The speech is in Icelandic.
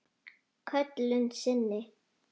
Köllun sinni?